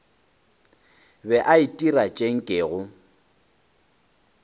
be a itira tše nkego